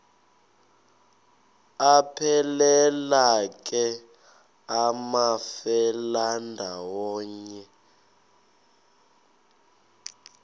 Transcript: aphelela ke amafelandawonye